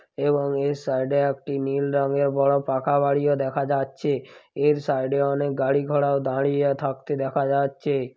এবং এ সাইড -এ একটি নীল রঙের বড়ো পাকা বাড়িও দেখা যাচ্ছে এর সাইড -এ অনেক গাড়ি ঘোড়াও দাঁড়িয়ে থাকতে দেখা যাচ্ছে।